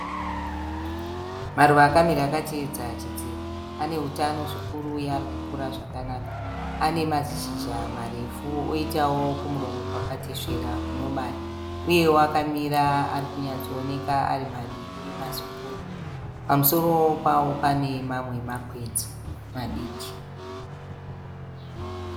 Maruva akamira akateedza chidziro. Aneutano zvikuru uye ari kukura zvakanaka. Anemazishizha marefu oitawo kumuromo kwakatesvera kunobaya. Uyewo akamira arikunyatsooneka ari maviri mazikuru. Pamusoro pawo pane mamwe makwenzi madiki.